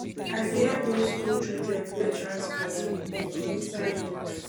i bin help those skool children pay transport um for inside bus